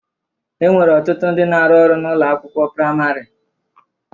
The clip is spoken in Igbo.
E nwere ọtụtụ ndị na-arụ ọrụ n'ụlọ akịwụkwọ praịmarị.